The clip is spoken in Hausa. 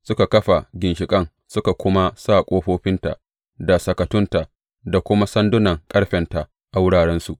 Suka kafa ginshiƙan, suka kuma sa ƙofofinta, da sakatunta, da kuma sandunan ƙarfenta a wurarensu.